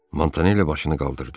Montanelli başını qaldırdı.